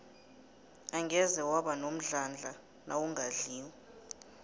angeze waba nomdlandla nawungadliko